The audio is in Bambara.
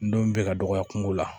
Ntomi be ka dɔgɔya kungo la